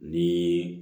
Ni